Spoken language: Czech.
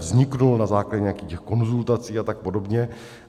Vznikl na základě nějakých konzultací a tak podobně.